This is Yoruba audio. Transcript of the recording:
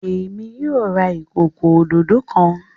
Èmi yóò rà ìkọkọ òdodo kán.